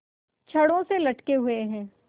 छड़ों से लटके हुए हैं